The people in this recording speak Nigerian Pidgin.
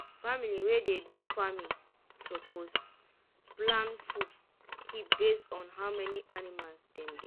family wey dey do farming suppose plan food keep based on how many anima dem get.